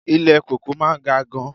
Ilé kòkó máa ga gan-an.